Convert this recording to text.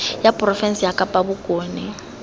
ya porofense ya kapa bokone